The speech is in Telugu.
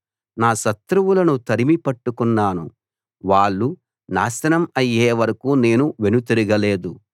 నా శత్రువులను తరిమి పట్టుకున్నాను వాళ్ళు నాశనం అయ్యేవరకు నేను వెనుతిరగలేదు